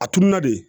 A turula de